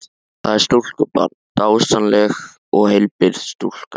Það er stúlkubarn, dásamleg og heilbrigð stúlka.